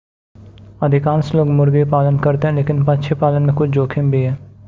अधिकांश लोग मुर्गी पालन करते हैं लेकिन पक्षी पालन में कुछ जोखिम भी है